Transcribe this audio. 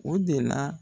O de la